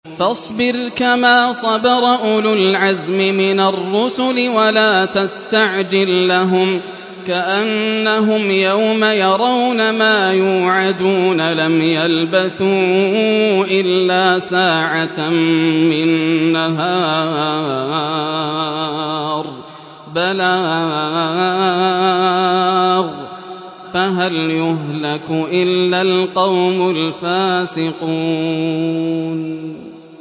فَاصْبِرْ كَمَا صَبَرَ أُولُو الْعَزْمِ مِنَ الرُّسُلِ وَلَا تَسْتَعْجِل لَّهُمْ ۚ كَأَنَّهُمْ يَوْمَ يَرَوْنَ مَا يُوعَدُونَ لَمْ يَلْبَثُوا إِلَّا سَاعَةً مِّن نَّهَارٍ ۚ بَلَاغٌ ۚ فَهَلْ يُهْلَكُ إِلَّا الْقَوْمُ الْفَاسِقُونَ